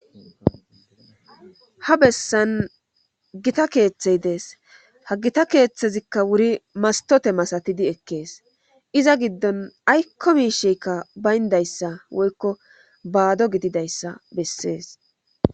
ha bessan gita keeththey dees ha gita keeththezikka wuri mastote masatidi ekkees iza giddon aykko miisheykka bayndayssa woykko baado gididayssa bessees